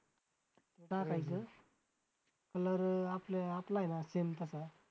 colour आपला आहे ना same तसा